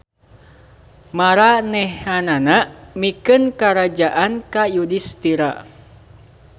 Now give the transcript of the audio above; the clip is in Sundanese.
Maranehanana mikeun karajaan ka Yudistira.